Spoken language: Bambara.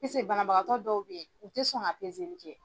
Piseke banabagatɔ dɔw bɛ yen u tɛ sɔn ka pezeli kɛ.